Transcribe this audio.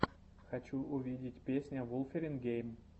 хочу увидеть песня вулфирин гейм